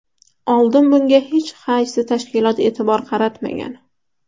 Oldin bunga hech qaysi tashkilot e’tibor qaratmagan.